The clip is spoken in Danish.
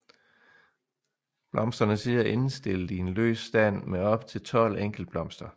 Blomsterne sidder endestillet i en løs stand med op til 12 enkeltblomster